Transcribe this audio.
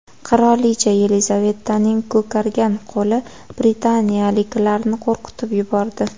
Qirolicha Yelizavetaning ko‘kargan qo‘li britaniyaliklarni qo‘rqitib yubordi.